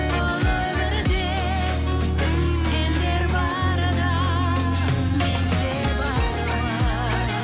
бұл өмірде сендер барда мен де бармын